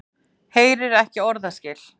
Heyrir ekki orðaskil.